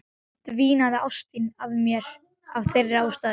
Dvínaði ást þín á mér af þeirri ástæðu?